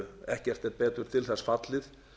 ekkert er betur til þess fallið